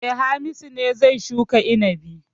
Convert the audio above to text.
E, Hamisu ne zai shuka inabi.